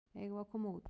Eigum við að koma út?